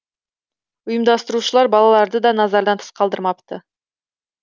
ұйымдастырушылар балаларды да назардан тыс қалдырмапты